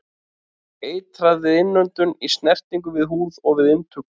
Eitrað við innöndun, í snertingu við húð og við inntöku.